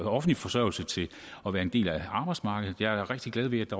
offentlig forsørgelse til at være en del af arbejdsmarkedet jeg er da rigtig glad ved